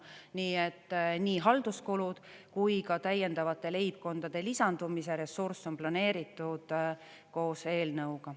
Nii et nii halduskulud kui ka täiendavate leibkondade lisandumise ressurss on planeeritud koos eelnõuga.